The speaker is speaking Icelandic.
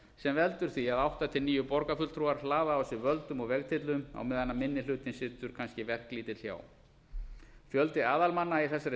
sem veldur því að átta til níu borgarfulltrúar hlaða á sig völdum og vegtyllum á meðan minni hlutinn situr hjá verklítill fjöldi aðalmanna í þessari